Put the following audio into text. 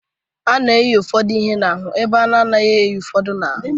A na-eyi ụfọdụ ihe n'ahụ ebe a naghị eyi ụfọdụ n'ahụ.